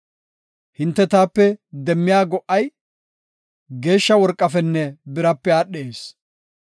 Hinte taape demmiya go77ay, geeshsha worqafenne birape aadhees.